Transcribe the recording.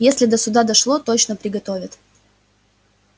если до суда дошло точно приготовят